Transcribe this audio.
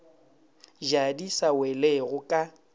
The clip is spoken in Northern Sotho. ja di sa welego ka